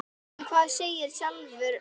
En hvað segir sjálfur landinn?